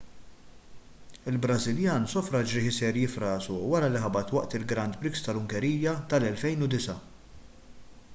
il-brażiljan sofra ġrieħi serji f'rasu wara li ħabat waqt il-grand prix tal-ungerija tal-2009